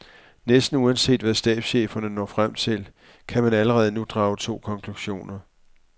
Næsten uanset hvad stabscheferne når frem til, kan man allerede nu drage to konklusioner.